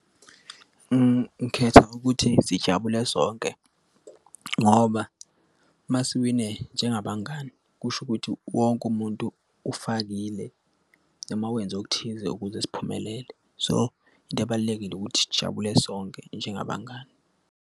Ngikhetha ukuthi sijabule sonke ngoba uma siwine njengabangani kusho ukuthi wonke umuntu ufakile mawenze okuthize ukuze siphumelele. So into ebalulekile ukuthi sijabule sonke njengabangani.